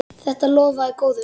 Þetta lofaði góðu.